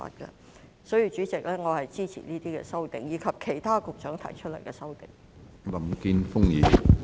因此，主席，我支持這些修正案及局長提出的其他修正案。